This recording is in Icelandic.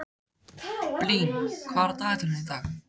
Blín, hvað er á dagatalinu í dag?